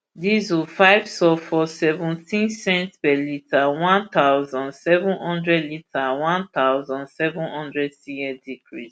diesel five sulphur seventeen cents per litre one thousand, seven hundred litre one thousand, seven hundred cl decrease